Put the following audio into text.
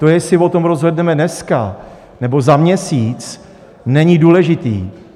To, jestli o tom rozhodneme dnes nebo za měsíc, není důležité.